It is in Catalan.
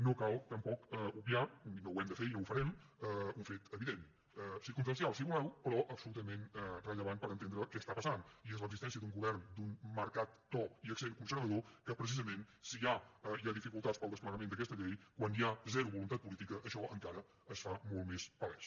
no cal tampoc obviar i no ho hem de fer i no ho farem un fet evident circumstancial si voleu però absolutament rellevant per entendre què està passant i és l’existència d’un govern d’un marcat to i accent conservador que precisament si ja hi ha dificultats per al desplegament d’aquesta llei quan hi ha zero voluntat política això encara es fa molt més palès